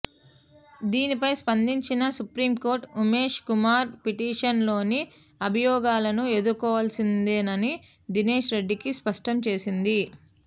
దీనిపై స్పందించిన supreme court Umesh Kumar petition లోని అభియోగాలను ఎదుర్కోవల్సిందేనని దినేష్ రెడ్డికి స్పష్టం చేసింది